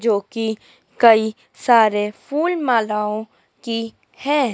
जोकि कई सारे फूल मालाओं की है।